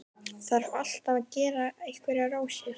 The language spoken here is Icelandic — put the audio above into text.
Þarf alltaf að gera einhverjar rósir.